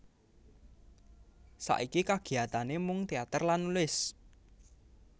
Saiki kagiyatane mung teater lan nulis